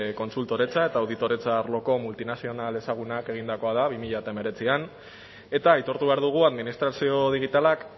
kontsultoretza eta auditoretza arloko multinazional ezagunak egindakoa da bi mila hemeretzian eta aitortu behar dugu administrazio digitalak